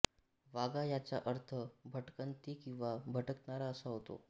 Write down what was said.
वागा याचा अर्थ भटकंती किंवा भटकणारा असा होतो